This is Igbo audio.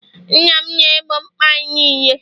nna m na-egbo mkpa anyị niile